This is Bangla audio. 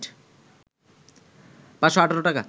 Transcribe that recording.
৫১৮ টাকা